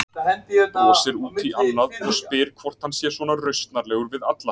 Brosir út í annað og spyr hvort hann sé svona rausnarlegur við alla.